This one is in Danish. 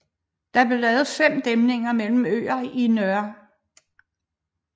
Der blev lavet fem dæmninger mellem øerne i Nr